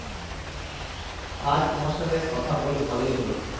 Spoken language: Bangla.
আজ তোমার সাথে কথা বলে ভালোই হল।